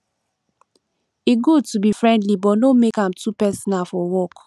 e good to be friendly but no make am too personal for work